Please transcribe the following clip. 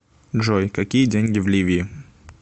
джой какие деньги в ливии